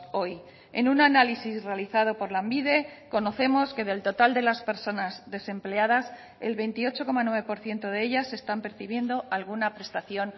hoy en un análisis realizado por lanbide conocemos que del total de las personas desempleadas el veintiocho coma nueve por ciento de ellas están percibiendo alguna prestación